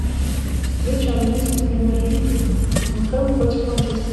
встреча английской премьер лиги тоттенхэм против манчестера